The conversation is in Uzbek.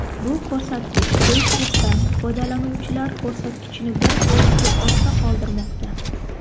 Bu ko‘rsatkich Facebook’dan foydalanuvchilar ko‘rsatkichini bir foizga ortda qoldirmoqda.